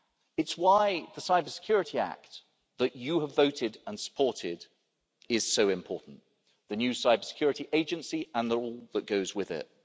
It's why the Cybersecurity Act that you have voted and supported is so important, the new Cybersecurity Agency and the role that goes with it.